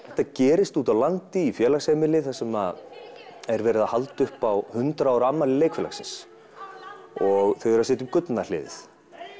þetta gerist úti á landi í félagsheimili þar sem er verið að halda upp á hundrað ára afmæli leikfélagsins og þau eru að setja upp gullna hliðið